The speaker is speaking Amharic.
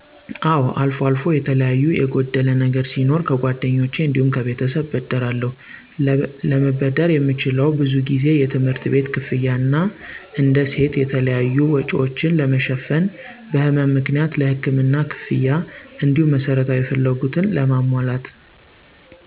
አወ አልፎ አልፎ የተለያዩ የጎደለ ነገር ሲኖር ከጓደኞ እንዲሁም ከቤተሰብ እበደራለሁ። ለበደር የምችለው ብዙ ጊዜ የትምህርት ቤት ክፍያ እና እንደ ሴት የተለያዩ፣ ወጭወችን ለመ ሸፍን፣ በህመም ምክንያት ለህክምና ክፍያ፣ እንዲሁም መሰረታዊ ፍላጎትን ለማሞላት፣